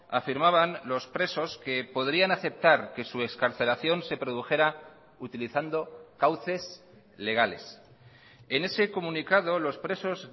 afirmaban los presos que podrían aceptar que su excarcelación se produjera utilizando cauces legales en ese comunicado los presos